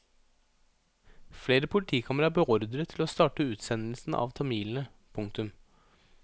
Flere politikamre er beordret til å starte utsendelsen av tamilene. punktum